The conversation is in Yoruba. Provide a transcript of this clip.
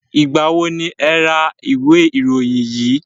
Ìgbà wo ni e ra ìwé ìròyìn yìí?